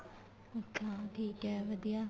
ਅੱਛਾ ਠੀਕ ਏ ਵਧੀਆ